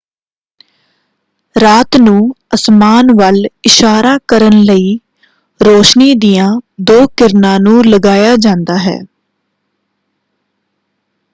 ਰਾਤ ਨੂੰ ਅਸਮਾਨ ਵੱਲ ਇਸ਼ਾਰਾ ਕਰਨ ਲਈ ਰੋਸ਼ਨੀ ਦੀਆਂ ਦੋ ਕਿਰਨਾਂ ਨੂੰ ਲਗਾਇਆ ਜਾਂਦਾ ਹੈ।